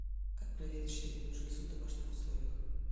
как проверить щитовидную железу в домашних условиях